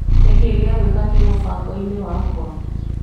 Nĩkĩĩ gĩa gwĩka kĩ mũbango-inĩ wakwa.